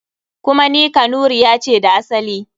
Kuma ni Kanuriya ce da asali.